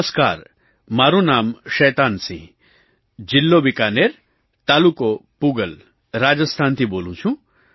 નમસ્કાર મારું નામ શૈતાનસિંહ જિલ્લો બિકાનેર તાલુકો પૂગલ રાજસ્થાનથી બોલું છું